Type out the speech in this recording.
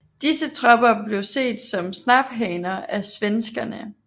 Disse tropper blev set som snaphaner af svenskerne